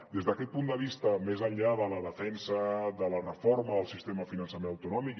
des d’aquest punt de vista més enllà de la defensa de la reforma del sistema de finançament autonòmic